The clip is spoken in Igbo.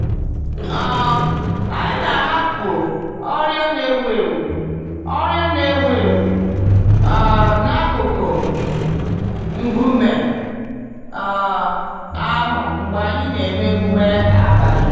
um Anyị na-ahapụ oriọna n'enwu-enwu oriọna n'enwu-enwu um n'akụkụ nkume um ahụ mgbe anyị na-eme emume abalị.